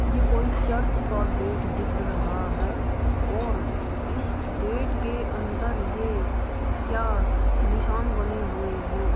यह कोई चर्च का गेट दिख रहा है और इस गेट के अंदर ये क्या निशान बने हुए है।